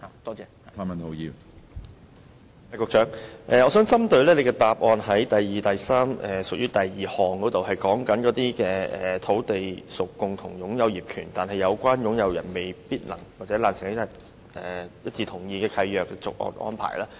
我想問局長有關主體答覆第二及三部分的第項，當中提到"如土地屬共有業權但有關擁有人未能或難以一致同意契約的續約安排"。